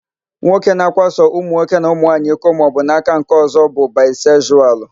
Nwoke na-akwaso ụmụnwoke na ụmụnwanyi iko maọbụ n'aka nkeọ̀zọ́ bụ baịsekzualu.